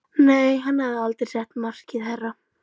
Nei, hann hafði aldrei sett markið hærra.